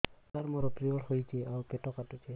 ସାର ମୋର ପିରିଅଡ଼ ହେଇଚି ଆଉ ପେଟ କାଟୁଛି